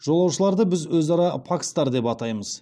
жолаушыларды біз өзара пакстар деп атаймыз